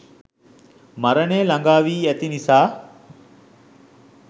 මරණය ළඟාවී ඇති නිසා